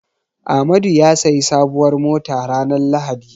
Amadu ya sayi sabuwar mota ranar lahadi.